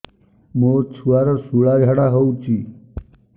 ମୋ ଛୁଆର ସୁଳା ଝାଡ଼ା ହଉଚି